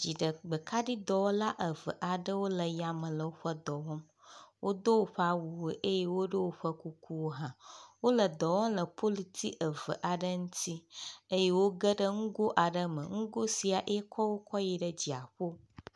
Dziɖgbe kaɖi dɔwɔla eve aɖewo le yame le woƒe dɔ wɔm. Wodo woƒe awuwo eye woɖo woƒe kukuwo hã. Wo le dɔ wɔm le polutsi eve aɖe ŋtsi eye wogeɖe nugo aɖe me nugo sia yekɔwo kɔ yi ɖe dziaƒo.